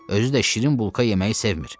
Özü də şirin bulka yeməyi sevmir.